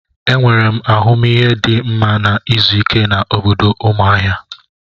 Enwere m ahụmihe dị mma na izu ike na obodo Umuahia.